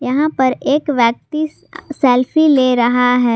यहां पर एक व्यक्ति सेल्फी ले रहा है।